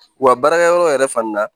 Wa baarakɛyɔrɔ yɛrɛ fana